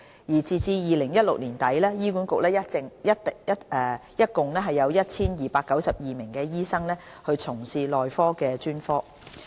截至2016年年底，醫管局一共有 1,292 名醫生從事內科專科。